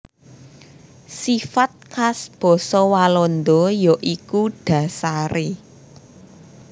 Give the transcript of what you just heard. Sifat khas basa Walanda ya iku dhasaré